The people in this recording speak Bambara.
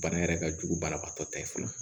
Bana yɛrɛ ka jugu banabagatɔ ta ye fɔlɔ